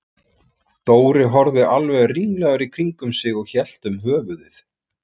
Dóri horfði alveg ringlaður í kringum sig og hélt um höfuðið.